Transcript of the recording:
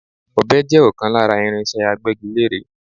Ọ̀be jẹ́ ọ̀kan lára irinse Agbẹ́gilére.